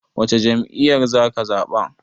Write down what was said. Wacce jam'iyyar zaka zaɓa?